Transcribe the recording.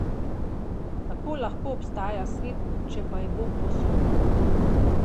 Kako lahko obstaja svet, če pa je Bog povsod?